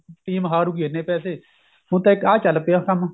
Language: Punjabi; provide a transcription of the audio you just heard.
team ਹਾਰੁਗੀ ਇੰਨੇ ਪੈਸੇ ਹੁਣ ਤਾਂ ਇੱਕ ਆਹ ਚੱਲ ਪਿਆ ਕੰਮ